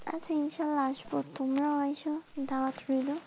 আচ্ছা, ইনশাল্লাহ আসবো, তোমার ও আসো, দাওয়াত রইলো।